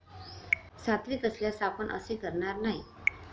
सात्विक असल्यास आपण असे करणार नाही.